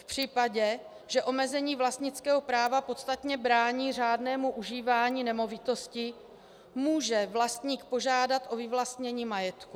V případě, že omezení vlastnického práva podstatně brání řádnému užívání nemovitosti, může vlastník požádat o vyvlastnění majetku.